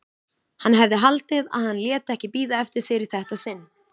Hann hefði haldið að hann léti ekki bíða eftir sér í þetta sinn.